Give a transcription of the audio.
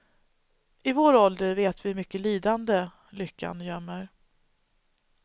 I vår ålder vet vi hur mycket lidande lyckan gömmer.